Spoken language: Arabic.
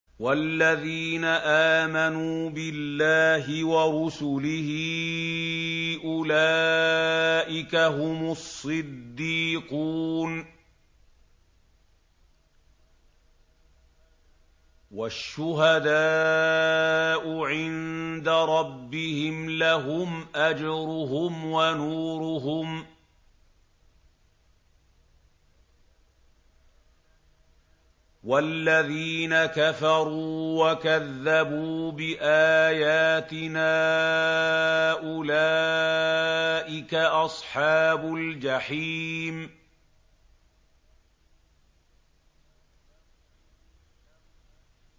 وَالَّذِينَ آمَنُوا بِاللَّهِ وَرُسُلِهِ أُولَٰئِكَ هُمُ الصِّدِّيقُونَ ۖ وَالشُّهَدَاءُ عِندَ رَبِّهِمْ لَهُمْ أَجْرُهُمْ وَنُورُهُمْ ۖ وَالَّذِينَ كَفَرُوا وَكَذَّبُوا بِآيَاتِنَا أُولَٰئِكَ أَصْحَابُ الْجَحِيمِ